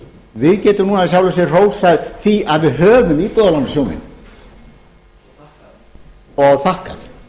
við getum núna í sjálfu sér hrósað því að við höfum íbúðarlánasjóðinn og þakkað